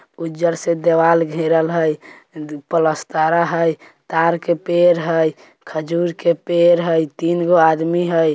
उज्जर से देवाल घेरल हेय प्लास्टर हेय तार के पेड़ हेय खजूर के पेड़ हेय तीन गो आदमी हेय।